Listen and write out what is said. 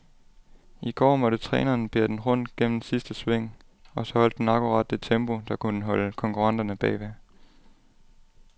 I går måtte træneren bære den rundt gennem sidste sving, og så holdt den akkurat det tempo, der kunne holde konkurrenterne bagved.